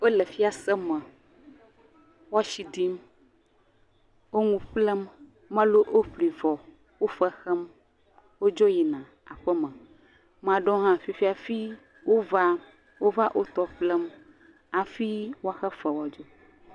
Wo le fiase me. Wo asi ɖim, wo ŋu ƒlem, mɔlu woƒli vɔ wo fe xem, wodzo yina aƒe me. Ame aɖewo hã fifia hafi wova. Wova wotɔ ƒlem hafi woaxe fe woadzo.